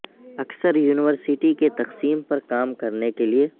اکثر یونیورسٹی کی تقسیم پر کام کرنے کے لے